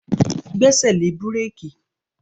Gbẹ́sẹ̀ lé búrékì!